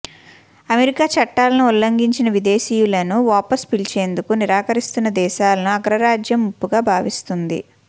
America చట్టాలను ఉల్లంఘించిన విదేశీయులను వాపస్ పిలిచేందుకు నిరాకరిస్తున్న దేశాలను అగ్రరాజ్యం ముప్పుగా భావిస్తోంది